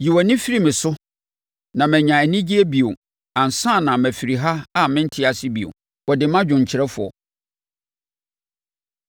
Yi wʼani firi me so na manya anigyeɛ bio ansa na mafiri ha a mente ase bio.” Wɔde ma dwomkyerɛfoɔ.